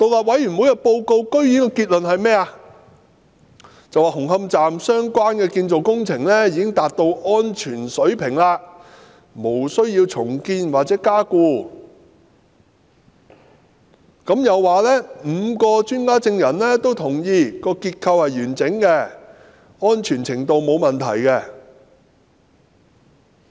委員會報告的結論居然表示紅磡站相關的建造工程達到安全水平，無須重建或加固，又說5位專家證人均認同結構完整，安全程度沒有問題。